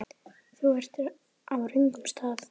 Þú ert á röngum stað